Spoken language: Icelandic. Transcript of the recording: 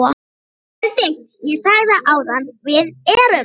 BENEDIKT: Ég sagði það áðan: Við erum.